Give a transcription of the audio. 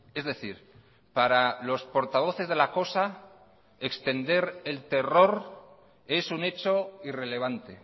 es decir para los portavoces de la cosa extender el terror es un hecho irrelevante